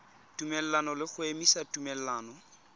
tumelelano le go emisa tumelelano